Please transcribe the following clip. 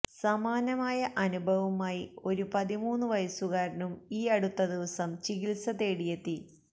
സമാനമായ അനുഭവവുമായി ഒരു പതിമൂന്ന് വയസ്സുകാരനും ഈ അടുത്ത ദിവസം ചികിത്സ തേടിയെത്തി